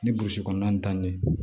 Ni burusi kɔnɔna nin ye